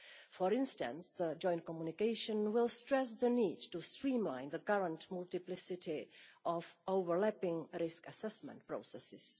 For instance the joint communication will stress the need to streamline the current multiplicity of overlapping risk assessment processes.